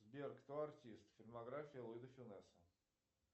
сбер кто артист фильмография луи де фюнеса